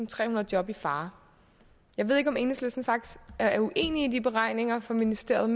trehundrede job i fare jeg ved ikke om enhedslisten faktisk er uenig i de beregninger fra ministeriet